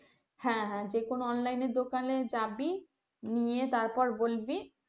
হ্যাঁ হ্যাঁ যে কোন online এর দোকানে যাবি, নিয়ে তারপর বলবি।